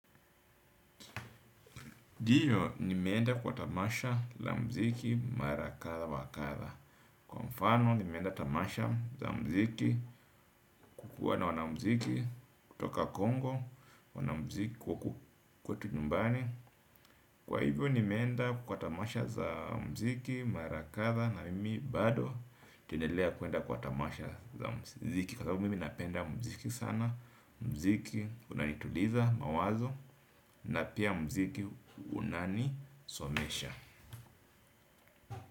Ndiyo, nimeenda kwa tamasha la muziki mara kadha wa kadha. Kwa mfano, nimeenda tamasha za muziki kukuwa na wanamuziki kutoka Congo, wanamuziki kwetu nyumbani. Kwa hivyo, nimeenda kwa tamasha za muziki mara kadhaa na mimi bado tunaendelea kuenda kwa tamasha za muziki. Kwa sababu mimi napenda muziki sana. Muziki unanituliza mawazo na pia muziki unanisomesha.